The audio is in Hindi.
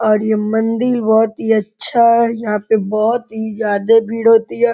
और ये मंदिल बोहोत ही अच्छा। यहाँ पे बोहोत ही जादे भीड़ होती है।